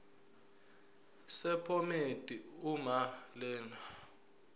sephomedi uma lena